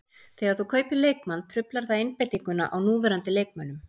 Þegar þú kaupir leikmann truflar það einbeitinguna á núverandi leikmönnum.